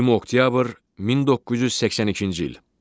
20 oktyabr 1982-ci il.